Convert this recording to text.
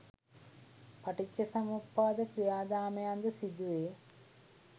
පටිච්චසමුප්පාද ක්‍රියාදාමයන් ද සිදුවේ.